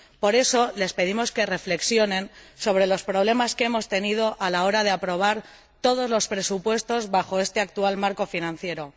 Por eso, les pedimos que reflexionen sobre los problemas que hemos tenido a la hora de aprobar todos los presupuestos bajo este actual Marco financiero.